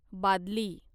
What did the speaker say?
बादली